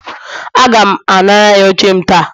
Aga m anara ya oche m ta